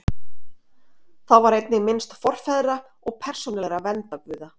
Þá var einnig minnst forfeðra og persónulegra verndarguða.